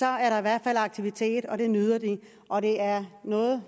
er der i hvert fald aktivitet det nyder de og det er noget